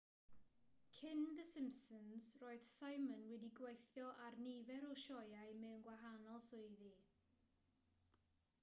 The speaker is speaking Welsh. cyn the simpsons roedd simon wedi gweithio ar nifer o sioeau mewn gwahanol swyddi